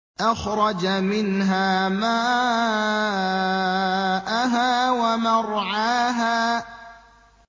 أَخْرَجَ مِنْهَا مَاءَهَا وَمَرْعَاهَا